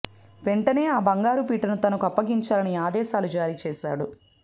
వెంటనే ఆ బంగారు పీటను తనకు అప్పగించాలని ఆదేశాలు జారీ చేశాడు